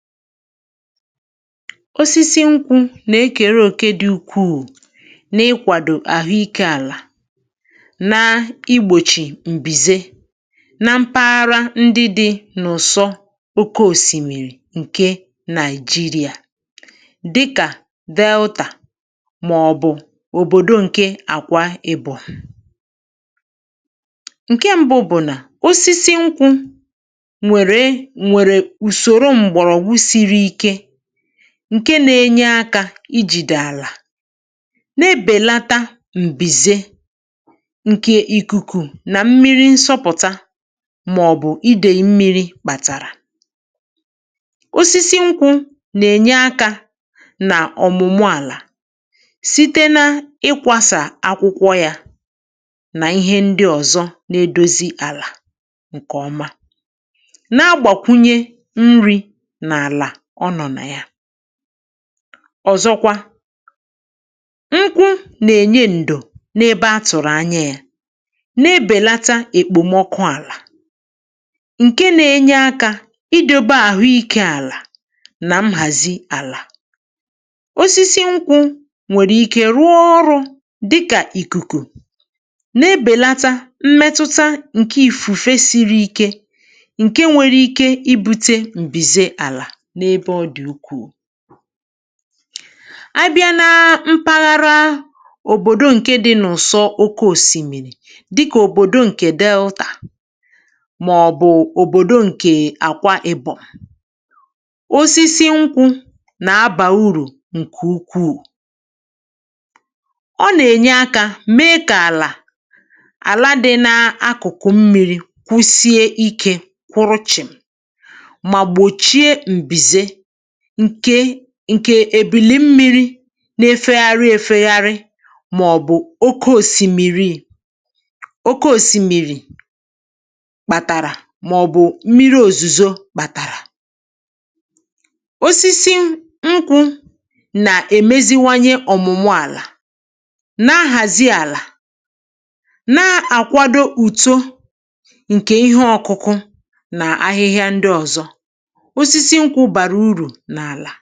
Osisi nkwụ na-akpọ òkè dị̀ ukwu, na-akpọ òkè dị̀ ukwu, n’ịkwàdo àhụiké àlà na igbochi m̀bìze n’mpaghara ndị dị n’ụ̀sọ oké òsìmìrì Naịjíríà, dịkà Dèltà maọ̀bụ Àkwa Ibọ̀m. Ihe mbù, ihe mbù, bụ̀ na osisi nkwụ na-enye akà na-adọ̀ àlà, na-enye akà na-adọ̀ àlà, na-ebèlata m̀bìze nke ikuku na nke mmìrì̀ na-asọpụ̀, mmìrì̀ na-asọpụ̀, maọ̀bụ̀ idei mmìrì̀. Osisi nkwụ na-enyekwa àlà nri, na-enyekwa àlà nri, site n’ịkụ̀sà akwụkwọ ya na ihe ndị ọzọ, nke na-emezi àlà, nke na-emezi àlà. Na mgbakwunye, nkwụ na-enye ndò, na-enye ndò, n’ebe ọ dị mkpa, n’ebe ọ dị mkpa, na-ebèlata ọkụ̀ àlà ma na-enyere idobe àhụiké àlà, àhụiké àlà, na nhazi ya. Osisi nkwụ nwekwara ike ịbụ ìkùkù mgbochi, ịbụ ìkùkù mgbochi, na-ebèlata mmetụta ìfùfè siri ike, ìfùfè siri ike, nke nwere ike ibute m̀bìze àlà n’òbòdò ndị dị n’ụ̀sọ oké òsìmìrì. N’ebe dị n’ụ̀sọ oké òsìmìrì, n’ebe dị n’ụ̀sọ oké òsìmìrì, dịkà Dèltà maọ̀bụ Àkwa Ibọ̀m, osisi nkwụ bụ uru dị̀ ukwu, bụ uru dị̀ ukwu. Ha na-enyere aka idobe àlà kwụsie ike, idobe àlà kwụsie ike, n’ebe idei mmìrì̀ maọ̀bụ̀ ebe ide mmìrì̀ na-apụta, na-ebu ụzọ gbochie mmetụta ebili mmiri, ebili mmiri, maọ̀bụ̀ nnukwu mmìrì̀ ozuzo, nnukwu mmìrì̀ ozuzo. Osisi nkwụ na-emezi àlà, na-emezi àlà, na-ahazi àlà, na-ahazi àlà, ma na-akwàdo utò ihe ọkụkụ, utò ihe ọkụkụ, na ahịhịa ndị ọzọ n’ala. um